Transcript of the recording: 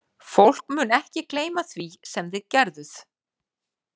Fólk mun ekki gleyma því sem þið gerðuð.